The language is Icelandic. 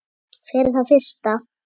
Fyrir það fyrsta